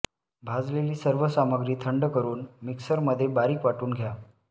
भाजलेली सर्व सामग्री थंड करून मिक्सरमध्ये बारीक वाटून घ्या